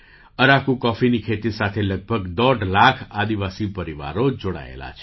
અરાકુ કૉફીની ખેતી સાથે લગભગ દોઢ લાખ આદિવાસી પરિવારો જોડાયેલા છે